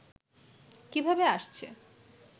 কিভাবে আসছে